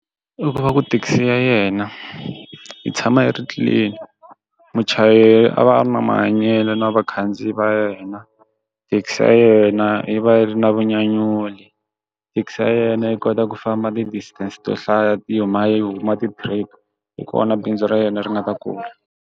I ku va ku thekisi ya yena yi tshama yi ri clean muchayeri a va a ri na mahanyelo na vakhandziyi va yena thekisi ya yena yi va yi ri na vunyanyuri thekisi ya yena yi kota ku famba ti distance to hlaya ti yimela yi huma ti trip hi kona bindzu ra yena ri nga ta kula.